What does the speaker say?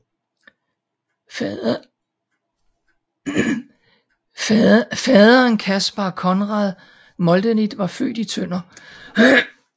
Faderen Caspar Conrad Moldenit var født i Tønder